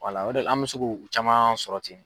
o de la an bɛ se k'o caman sɔrɔ ten.